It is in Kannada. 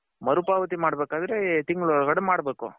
ಮರು ಪಾವತಿ ಮಾಡ್ಬೇಕ್ ಅಂದ್ರೆ ಈ ತಿಂಗಳು ಒಳಗಡೆ ಮಾಡ್ಬೇಕು .